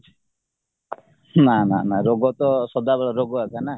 ନା ନା ନା ରୋଗତ ସଦାବେଳେ ରୋଗ ଆସେନା